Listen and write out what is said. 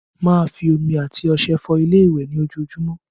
Má a fi omi and ọṣẹ fọ ilé ìwẹ̀ ní ojoojúmọ́